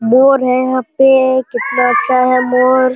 मोर है यहाँ पे कितना अच्छा है मोर।